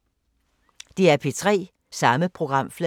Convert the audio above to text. DR P3